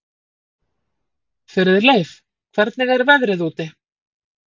Friðleif, hvernig er veðrið úti?